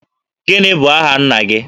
Gịnị bụ aha nna gị?